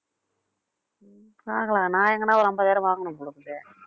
பார்க்கலாம் நான் எங்கனா ஒரு ஐம்பதாயிரம் வாங்கணும் போல இருக்குதே